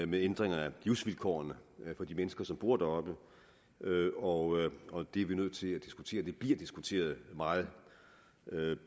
med ændringer i livsvilkårene for de mennesker som bor deroppe og det er vi nødt til at diskutere det bliver diskuteret meget